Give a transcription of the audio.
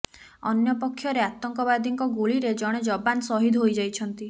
ଅନ୍ୟପକ୍ଷରେ ଆତଙ୍କବାଦୀଙ୍କ ଗୁଳିରେ ଜଣେ ଯବାନ ସହିଦ ହୋଇ ଯାଇଛନ୍ତି